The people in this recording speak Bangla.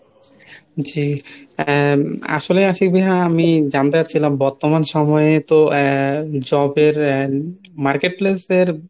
জি আহ আসলে আশিক ভাইয়া আমি জানতে চাচ্ছিলাম বর্তমান সময়ে তো আহ job এর আহ marketplace এর